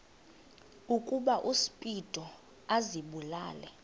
ukuba uspido azibulale